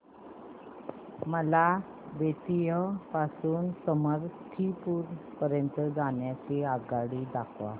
मला बेत्तीयाह पासून ते समस्तीपुर पर्यंत जाण्या करीता आगगाडी दाखवा